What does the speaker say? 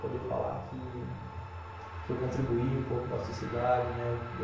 Poder falar que que eu contribuí um pouco com a sociedade, né?